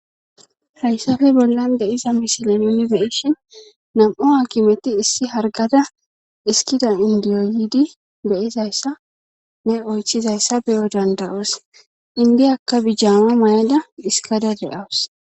hayssafe bollan de iza misilamini beyishin nam'o akimeti issi hargada iskida indiyoyidi beyizayssa ne oychizayssa beyo danda7oos indiyakka bijjamo mayada hiskada de7awus